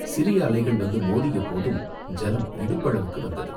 சிறிய அலைகள் வந்து மோதிய போது ஜலம் இடுப்பளவுக்கு வந்தது.